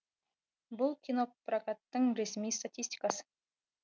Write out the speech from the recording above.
бұл кинопрокаттың ресми статистикасы